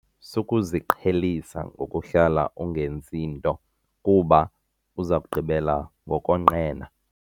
Sukuziqhelisa ukuhlala ungenzi nto kuba uza kugqibela ngokonqena.